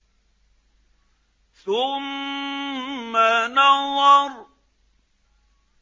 ثُمَّ نَظَرَ